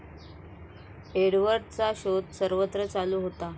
एडवर्डचा शोध सर्वत्र चालू होता.